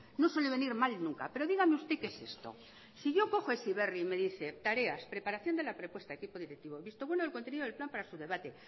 no suele venir mal nunca pero dígame usted qué es esto si yo cojo heziberri y me dice tareas preparación de la propuesta equipo directivo visto bueno del contenido del plan para su debate